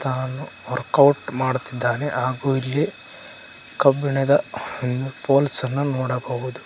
ಹಾಗೂ ವರ್ಕೌಟ್ ಮಾಡುತ್ತಿದ್ದಾನೆ ಹಾಗೂ ಇಲ್ಲಿ ಕಬ್ಬಿಣದ ಪೋಲ್ಸ್ ಅನ್ನ ನೋಡಬಹುದು.